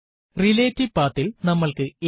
relative പത്ത് ൽ നമ്മൾക്ക് എത്ര